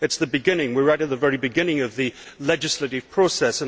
It is the beginning. We are right at the very beginning of the legislative process.